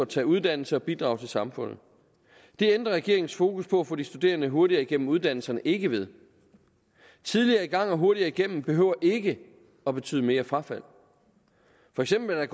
tage uddannelse og bidrage til samfundet det ændrer regeringens fokus på at få de studerende hurtigere igennem uddannelserne ikke ved tidligere i gang og hurtigere igennem behøver ikke at betyde mere frafald for eksempel er